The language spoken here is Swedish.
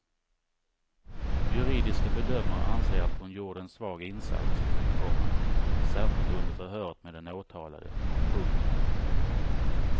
Juridiska bedömare anser att hon gjorde en svag insats, komma särskilt under förhöret med den åtalade. punkt